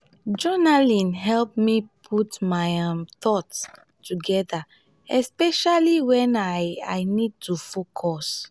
journaling help me put my um thoughts together especially when i i need to focus.